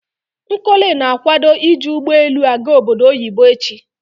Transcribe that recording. Nkole na akwado iji ugbo elu a-ga obodo oyibo echi